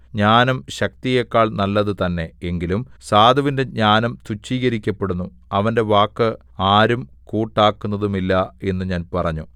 ജ്ഞാനം ശക്തിയേക്കാൾ നല്ലതു തന്നേ എങ്കിലും സാധുവിന്റെ ജ്ഞാനം തുച്ഛീകരിക്കപ്പെടുന്നു അവന്റെ വാക്ക് ആരും കൂട്ടാക്കുന്നതുമില്ല എന്നു ഞാൻ പറഞ്ഞു